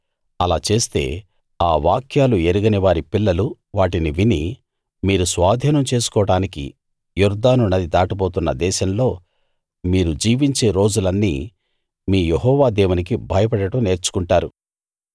అలా చేస్తే ఆ వాక్యాలు ఎరగనివారి పిల్లలు వాటిని విని మీరు స్వాధీనం చేసుకోడానికి యొర్దాను నది దాటబోతున్న దేశంలో మీరు జీవించే రోజులన్నీ మీ యెహోవా దేవునికి భయపడడం నేర్చుకుంటారు